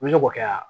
N bɛ se k'o kɛ